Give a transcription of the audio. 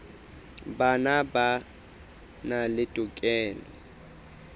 bona ba na le tokelo